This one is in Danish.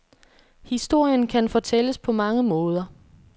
Historien kan fortælles på mange måder.